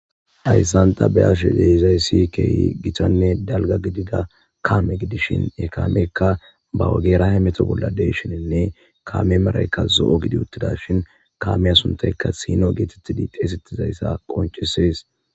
hayssan ta be7ash de7izayssi keehi gitanne dalga gidida kaame gidishin ekaamekka ba wagerahe meto bolla deyshininne kaame maraykka zo7o gidi uttida shin kaame asuntaykka sino geetettidi xeesetizayssa qoncises